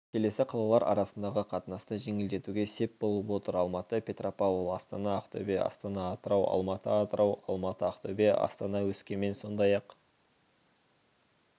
келесі қалалар арасындағы қатынасты жеңілдетуге сеп болып отыр алматы-петропавл астана-ақтөбе астана-атырау алматы-атырау алматы-ақтөбе астана-өскемен сондай-ақ